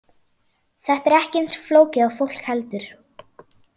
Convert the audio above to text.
Þetta er ekki eins flókið og fólk heldur.